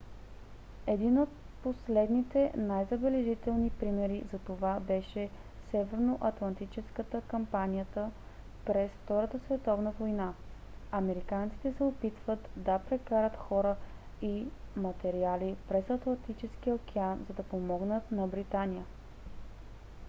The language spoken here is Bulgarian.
един от последните най-забележителни примери за това беше северноатлантическата кампанията през втората световна война. американците се опитват да прекарат хора и материали през атлантическия океан за да помогнат на британия